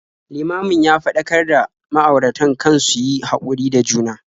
Limamin ya faɗakar da ma'auratan kan su yi haƙuri da juna.